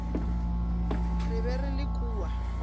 re be re le kua